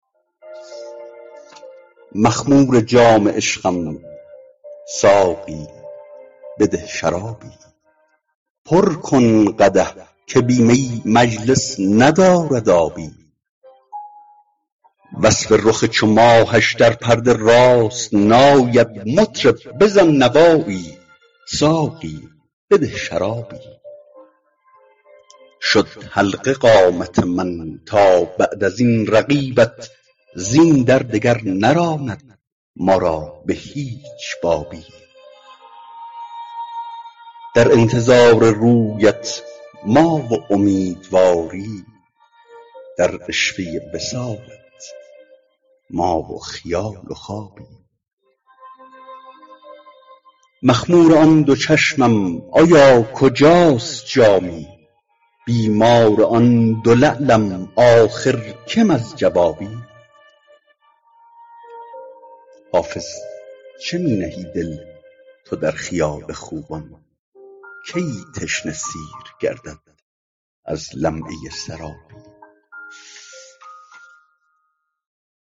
مخمور جام عشقم ساقی بده شرابی پر کن قدح که بی می مجلس ندارد آبی وصف رخ چو ماهش در پرده راست نآید مطرب بزن نوایی ساقی بده شرابی شد حلقه قامت من تا بعد از این رقیبت زین در دگر نراند ما را به هیچ بابی در انتظار رویت ما و امیدواری در عشوه وصالت ما و خیال و خوابی مخمور آن دو چشمم آیا کجاست جامی بیمار آن دو لعلم آخر کم از جوابی حافظ چه می نهی دل تو در خیال خوبان کی تشنه سیر گردد از لمعه سرابی